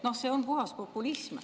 Noh, see on puhas populism.